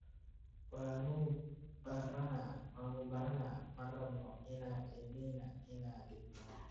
Waanu baranaa, ma rabno in cidina ina dhibto.